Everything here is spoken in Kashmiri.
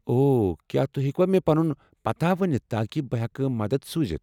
اوو، کیٛاہ توہہِ ہیٚکوٕ مےٚ پنُن پتاہ ؤنِتھ تاکہ بہٕ ہٮ۪کہٕ مدتھ سوٗزتھ؟